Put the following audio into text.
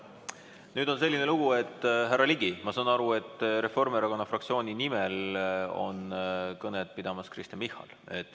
Nüüd on selline lugu, härra Ligi, ma saan aru, et Reformierakonna fraktsiooni nimel tuleb kõnet pidama Kristen Michal.